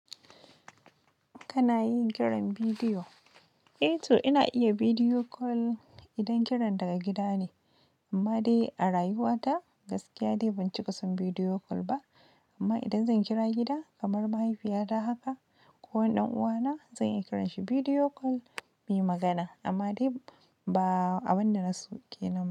Kana yin kiran bidiyo? Eh to ina iya bidiyo call idan kiran daga gida ne. Amma dai a rayuwa ta gaskiya dai ban cika son bidiyo call ba. Amma idan zan kira gida kamar mahaifiyata haka ko ɗan uwana zan iya kiranshi bidiyo call muyi magana. Amma dai ba a abinda na so kenan ba.